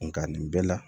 Nga nin bɛɛ la